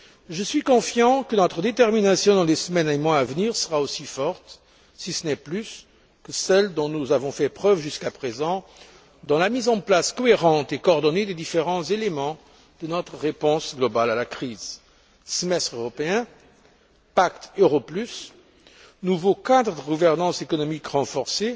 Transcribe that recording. Je suis confiant que notre détermination dans les semaines et mois à venir sera aussi forte, si ce n'est plus, que celle dont nous avons fait preuve jusqu'à présent dans la mise en place cohérente et coordonnée des différents éléments de notre réponse globale à la crise semestre européen, pacte euro plus, nouveau cadre de gouvernance économique renforcée